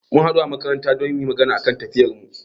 mun haɗu a makaranta don muyi magana game da tafiyarmu.